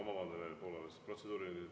Ma vabandan, Evelin Poolamets!